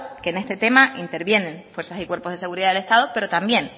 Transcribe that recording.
que en este tema intervienen fuerzas y cuerpos de seguridad del estado pero también